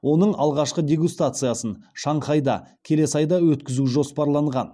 оның алғашқы дегустациясын шанхайда келесі айда өткізу жоспарланған